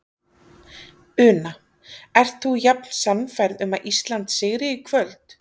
Una: Ert þú jafn sannfærð um að Ísland sigri í kvöld?